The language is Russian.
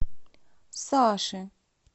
саши